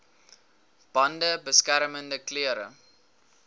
bande beskermende klere